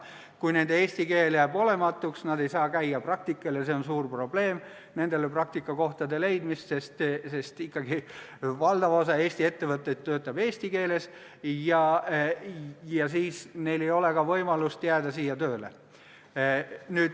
Kui nende eesti keel jääb olematuks ja nad ei saa käia praktikal – nendele praktikakohtade leidmine on suur probleem, sest valdav osa Eesti ettevõtteid töötab ikkagi eesti keeles –, siis ei ole neil ka võimalust siia tööle jääda.